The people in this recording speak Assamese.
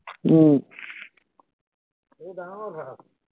উম